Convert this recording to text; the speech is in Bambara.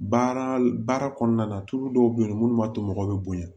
Baara baara kɔnɔna na tulu dɔw bɛ yen minnu b'a to mɔgɔw bɛ bonya